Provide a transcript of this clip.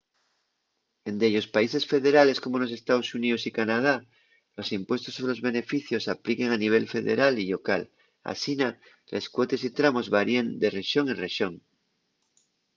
en dellos países federales como nos estaos xuníos y canadá los impuestos sobre los beneficios apliquen a nivel federal y llocal asina les cuotes y tramos varíen de rexón en rexón